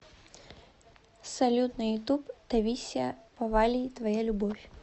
салют на ютуб таисия повалий твоя любовь